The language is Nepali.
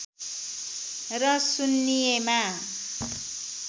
र सुन्निएमा